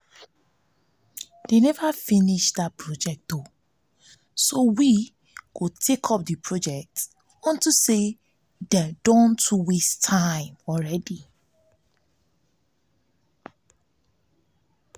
dey never finish dat road so we go take up the project unto say dey don waste plenty time already